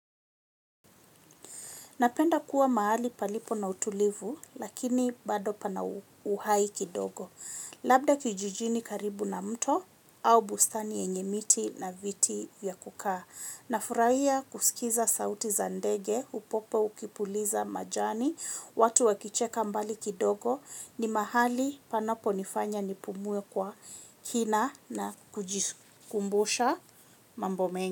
Napenda kuwa mahali palipo na utulivu, lakini bado pana uhai kidogo. Labda kijijini karibu na mto, au bustani yenye miti na viti vya kukaa. Na furahia kusikiza sauti za ndege, upepo ukipuliza majani, watu wakicheka mbali kidogo ni mahali panapo nifanya nipumue kwa kina na kujiskumbusha mambo mengi.